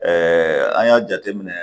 an y'a jateminɛ